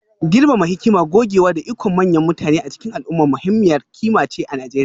girmama hikima, gogewa, da ikon manyan mutane a cikin al'umma muhimmiyar ƙima ce a Najeriya